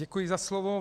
Děkuji za slovo.